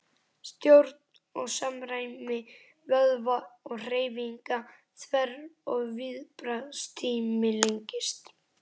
Stjórn og samræmi vöðva og hreyfinga þverr og viðbragðstími lengist.